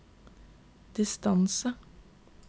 distance